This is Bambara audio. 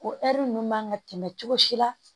O ɛri ninnu man kan ka tɛmɛ cogo si la